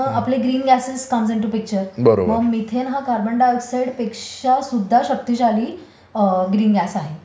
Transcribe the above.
आपले green gases comes into picture. मग methane हा कार्बन डाय ऑक्सीड पेक्षा सुद्धा शक्तिशाली ग्रीन गॅस आहे.